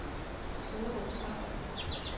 Solrød Strand